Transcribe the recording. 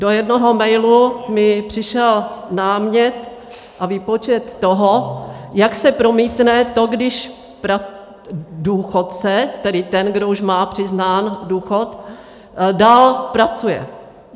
Do jednoho mailu mi přišel námět a výpočet toho, jak se promítne to, když důchodce, tedy ten, kdo už má přiznán důchod, dál pracuje.